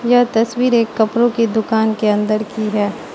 यह तस्वीर एक कपड़ों की दुकान के अंदर की है।